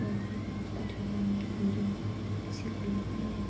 یہاں پر ایک آدمی ٹھہرا ہوا ہے۔ جو کسی کو لینے آیا ہوا--